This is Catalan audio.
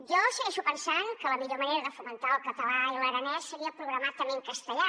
jo segueixo pensant que la millor manera de fomentar el català i l’aranès seria programar també en castellà